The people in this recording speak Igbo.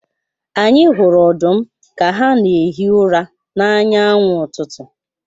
Anyi hụrụ ọdụm ka ha na-ehi ụra n’anya anwụ n’ụtụtụ.